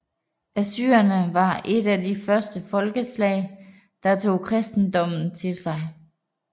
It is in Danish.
Assyrerne var et af de første folkeslag der tog kristendommen til sig